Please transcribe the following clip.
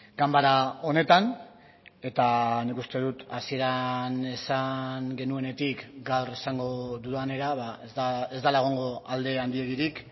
ganbara honetan eta nik uste dut hasieran esan genuenetik gaur esango dudanera ba ez dela egongo alde handirik